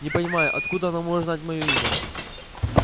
не понимаю откуда оно может знать моё имя